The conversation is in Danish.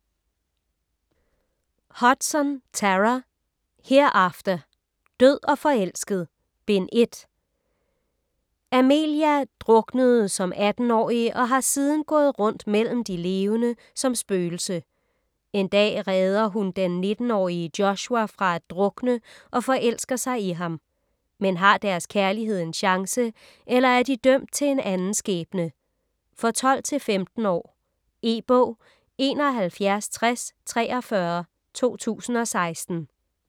Hudson, Tara: Hereafter: Død og forelsket: Bind 1 Amelia druknede som 18-årig og har siden gået rundt mellem de levende som spøgelse. En dag redder hun den 19-årige Joshua fra at drukne og forelsker sig i ham. Men har deres kærlighed en chance, eller er de dømt til en anden skæbne? For 12-15 år. E-bog 716043 2016.